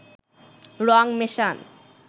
রং মেশান